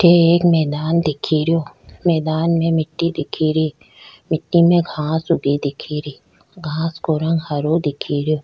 अठ एक मैदान दीख रो मैदान में मिटी दीख री मिटटी में घांस भी दीख री घांस को रंग हरो दीख रो।